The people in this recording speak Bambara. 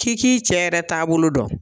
K'i k'i cɛ yɛrɛ taabolo dɔn.